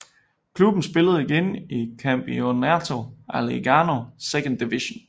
Klubben spillede igen i Campeonato Alagoano Second Division